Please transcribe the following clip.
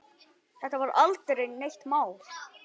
Þetta var aldrei neitt mál.